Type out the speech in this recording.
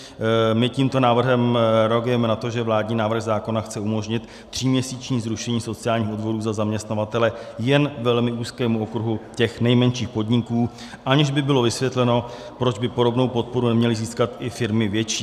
My tímto návrhem reagujeme na to, že vládní návrh zákona chce umožnit tříměsíční zrušení sociálních odvodů za zaměstnavatele jen velmi úzkému okruhu těch nejmenších podniků, aniž by bylo vysvětleno, proč by podobnou podporu neměly získat i firmy větší.